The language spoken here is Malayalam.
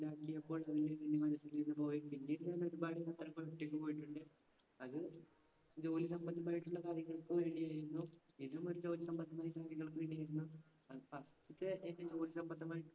. പിന്നീട് ഞാൻ ഒരുപാട് സ്ഥലങ്ങളിൽ ഒറ്റക്ക് പോയീട്ടുണ്ട്. അത് ജോലി സംബന്ധമായിട്ടുള്ള കാര്യങ്ങൾക്ക് വേണ്ടിയായിരുന്നു. വേണ്ടിയായിരുന്നു. ജോലി സംബന്ധമായ